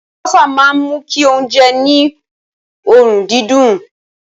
Àlùbọ́sà máa ń mú kí oúnjẹ ní òórùn dídùn.